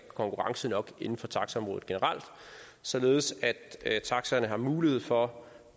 konkurrence nok inden for taxaområdet generelt således at taxaerne har mulighed for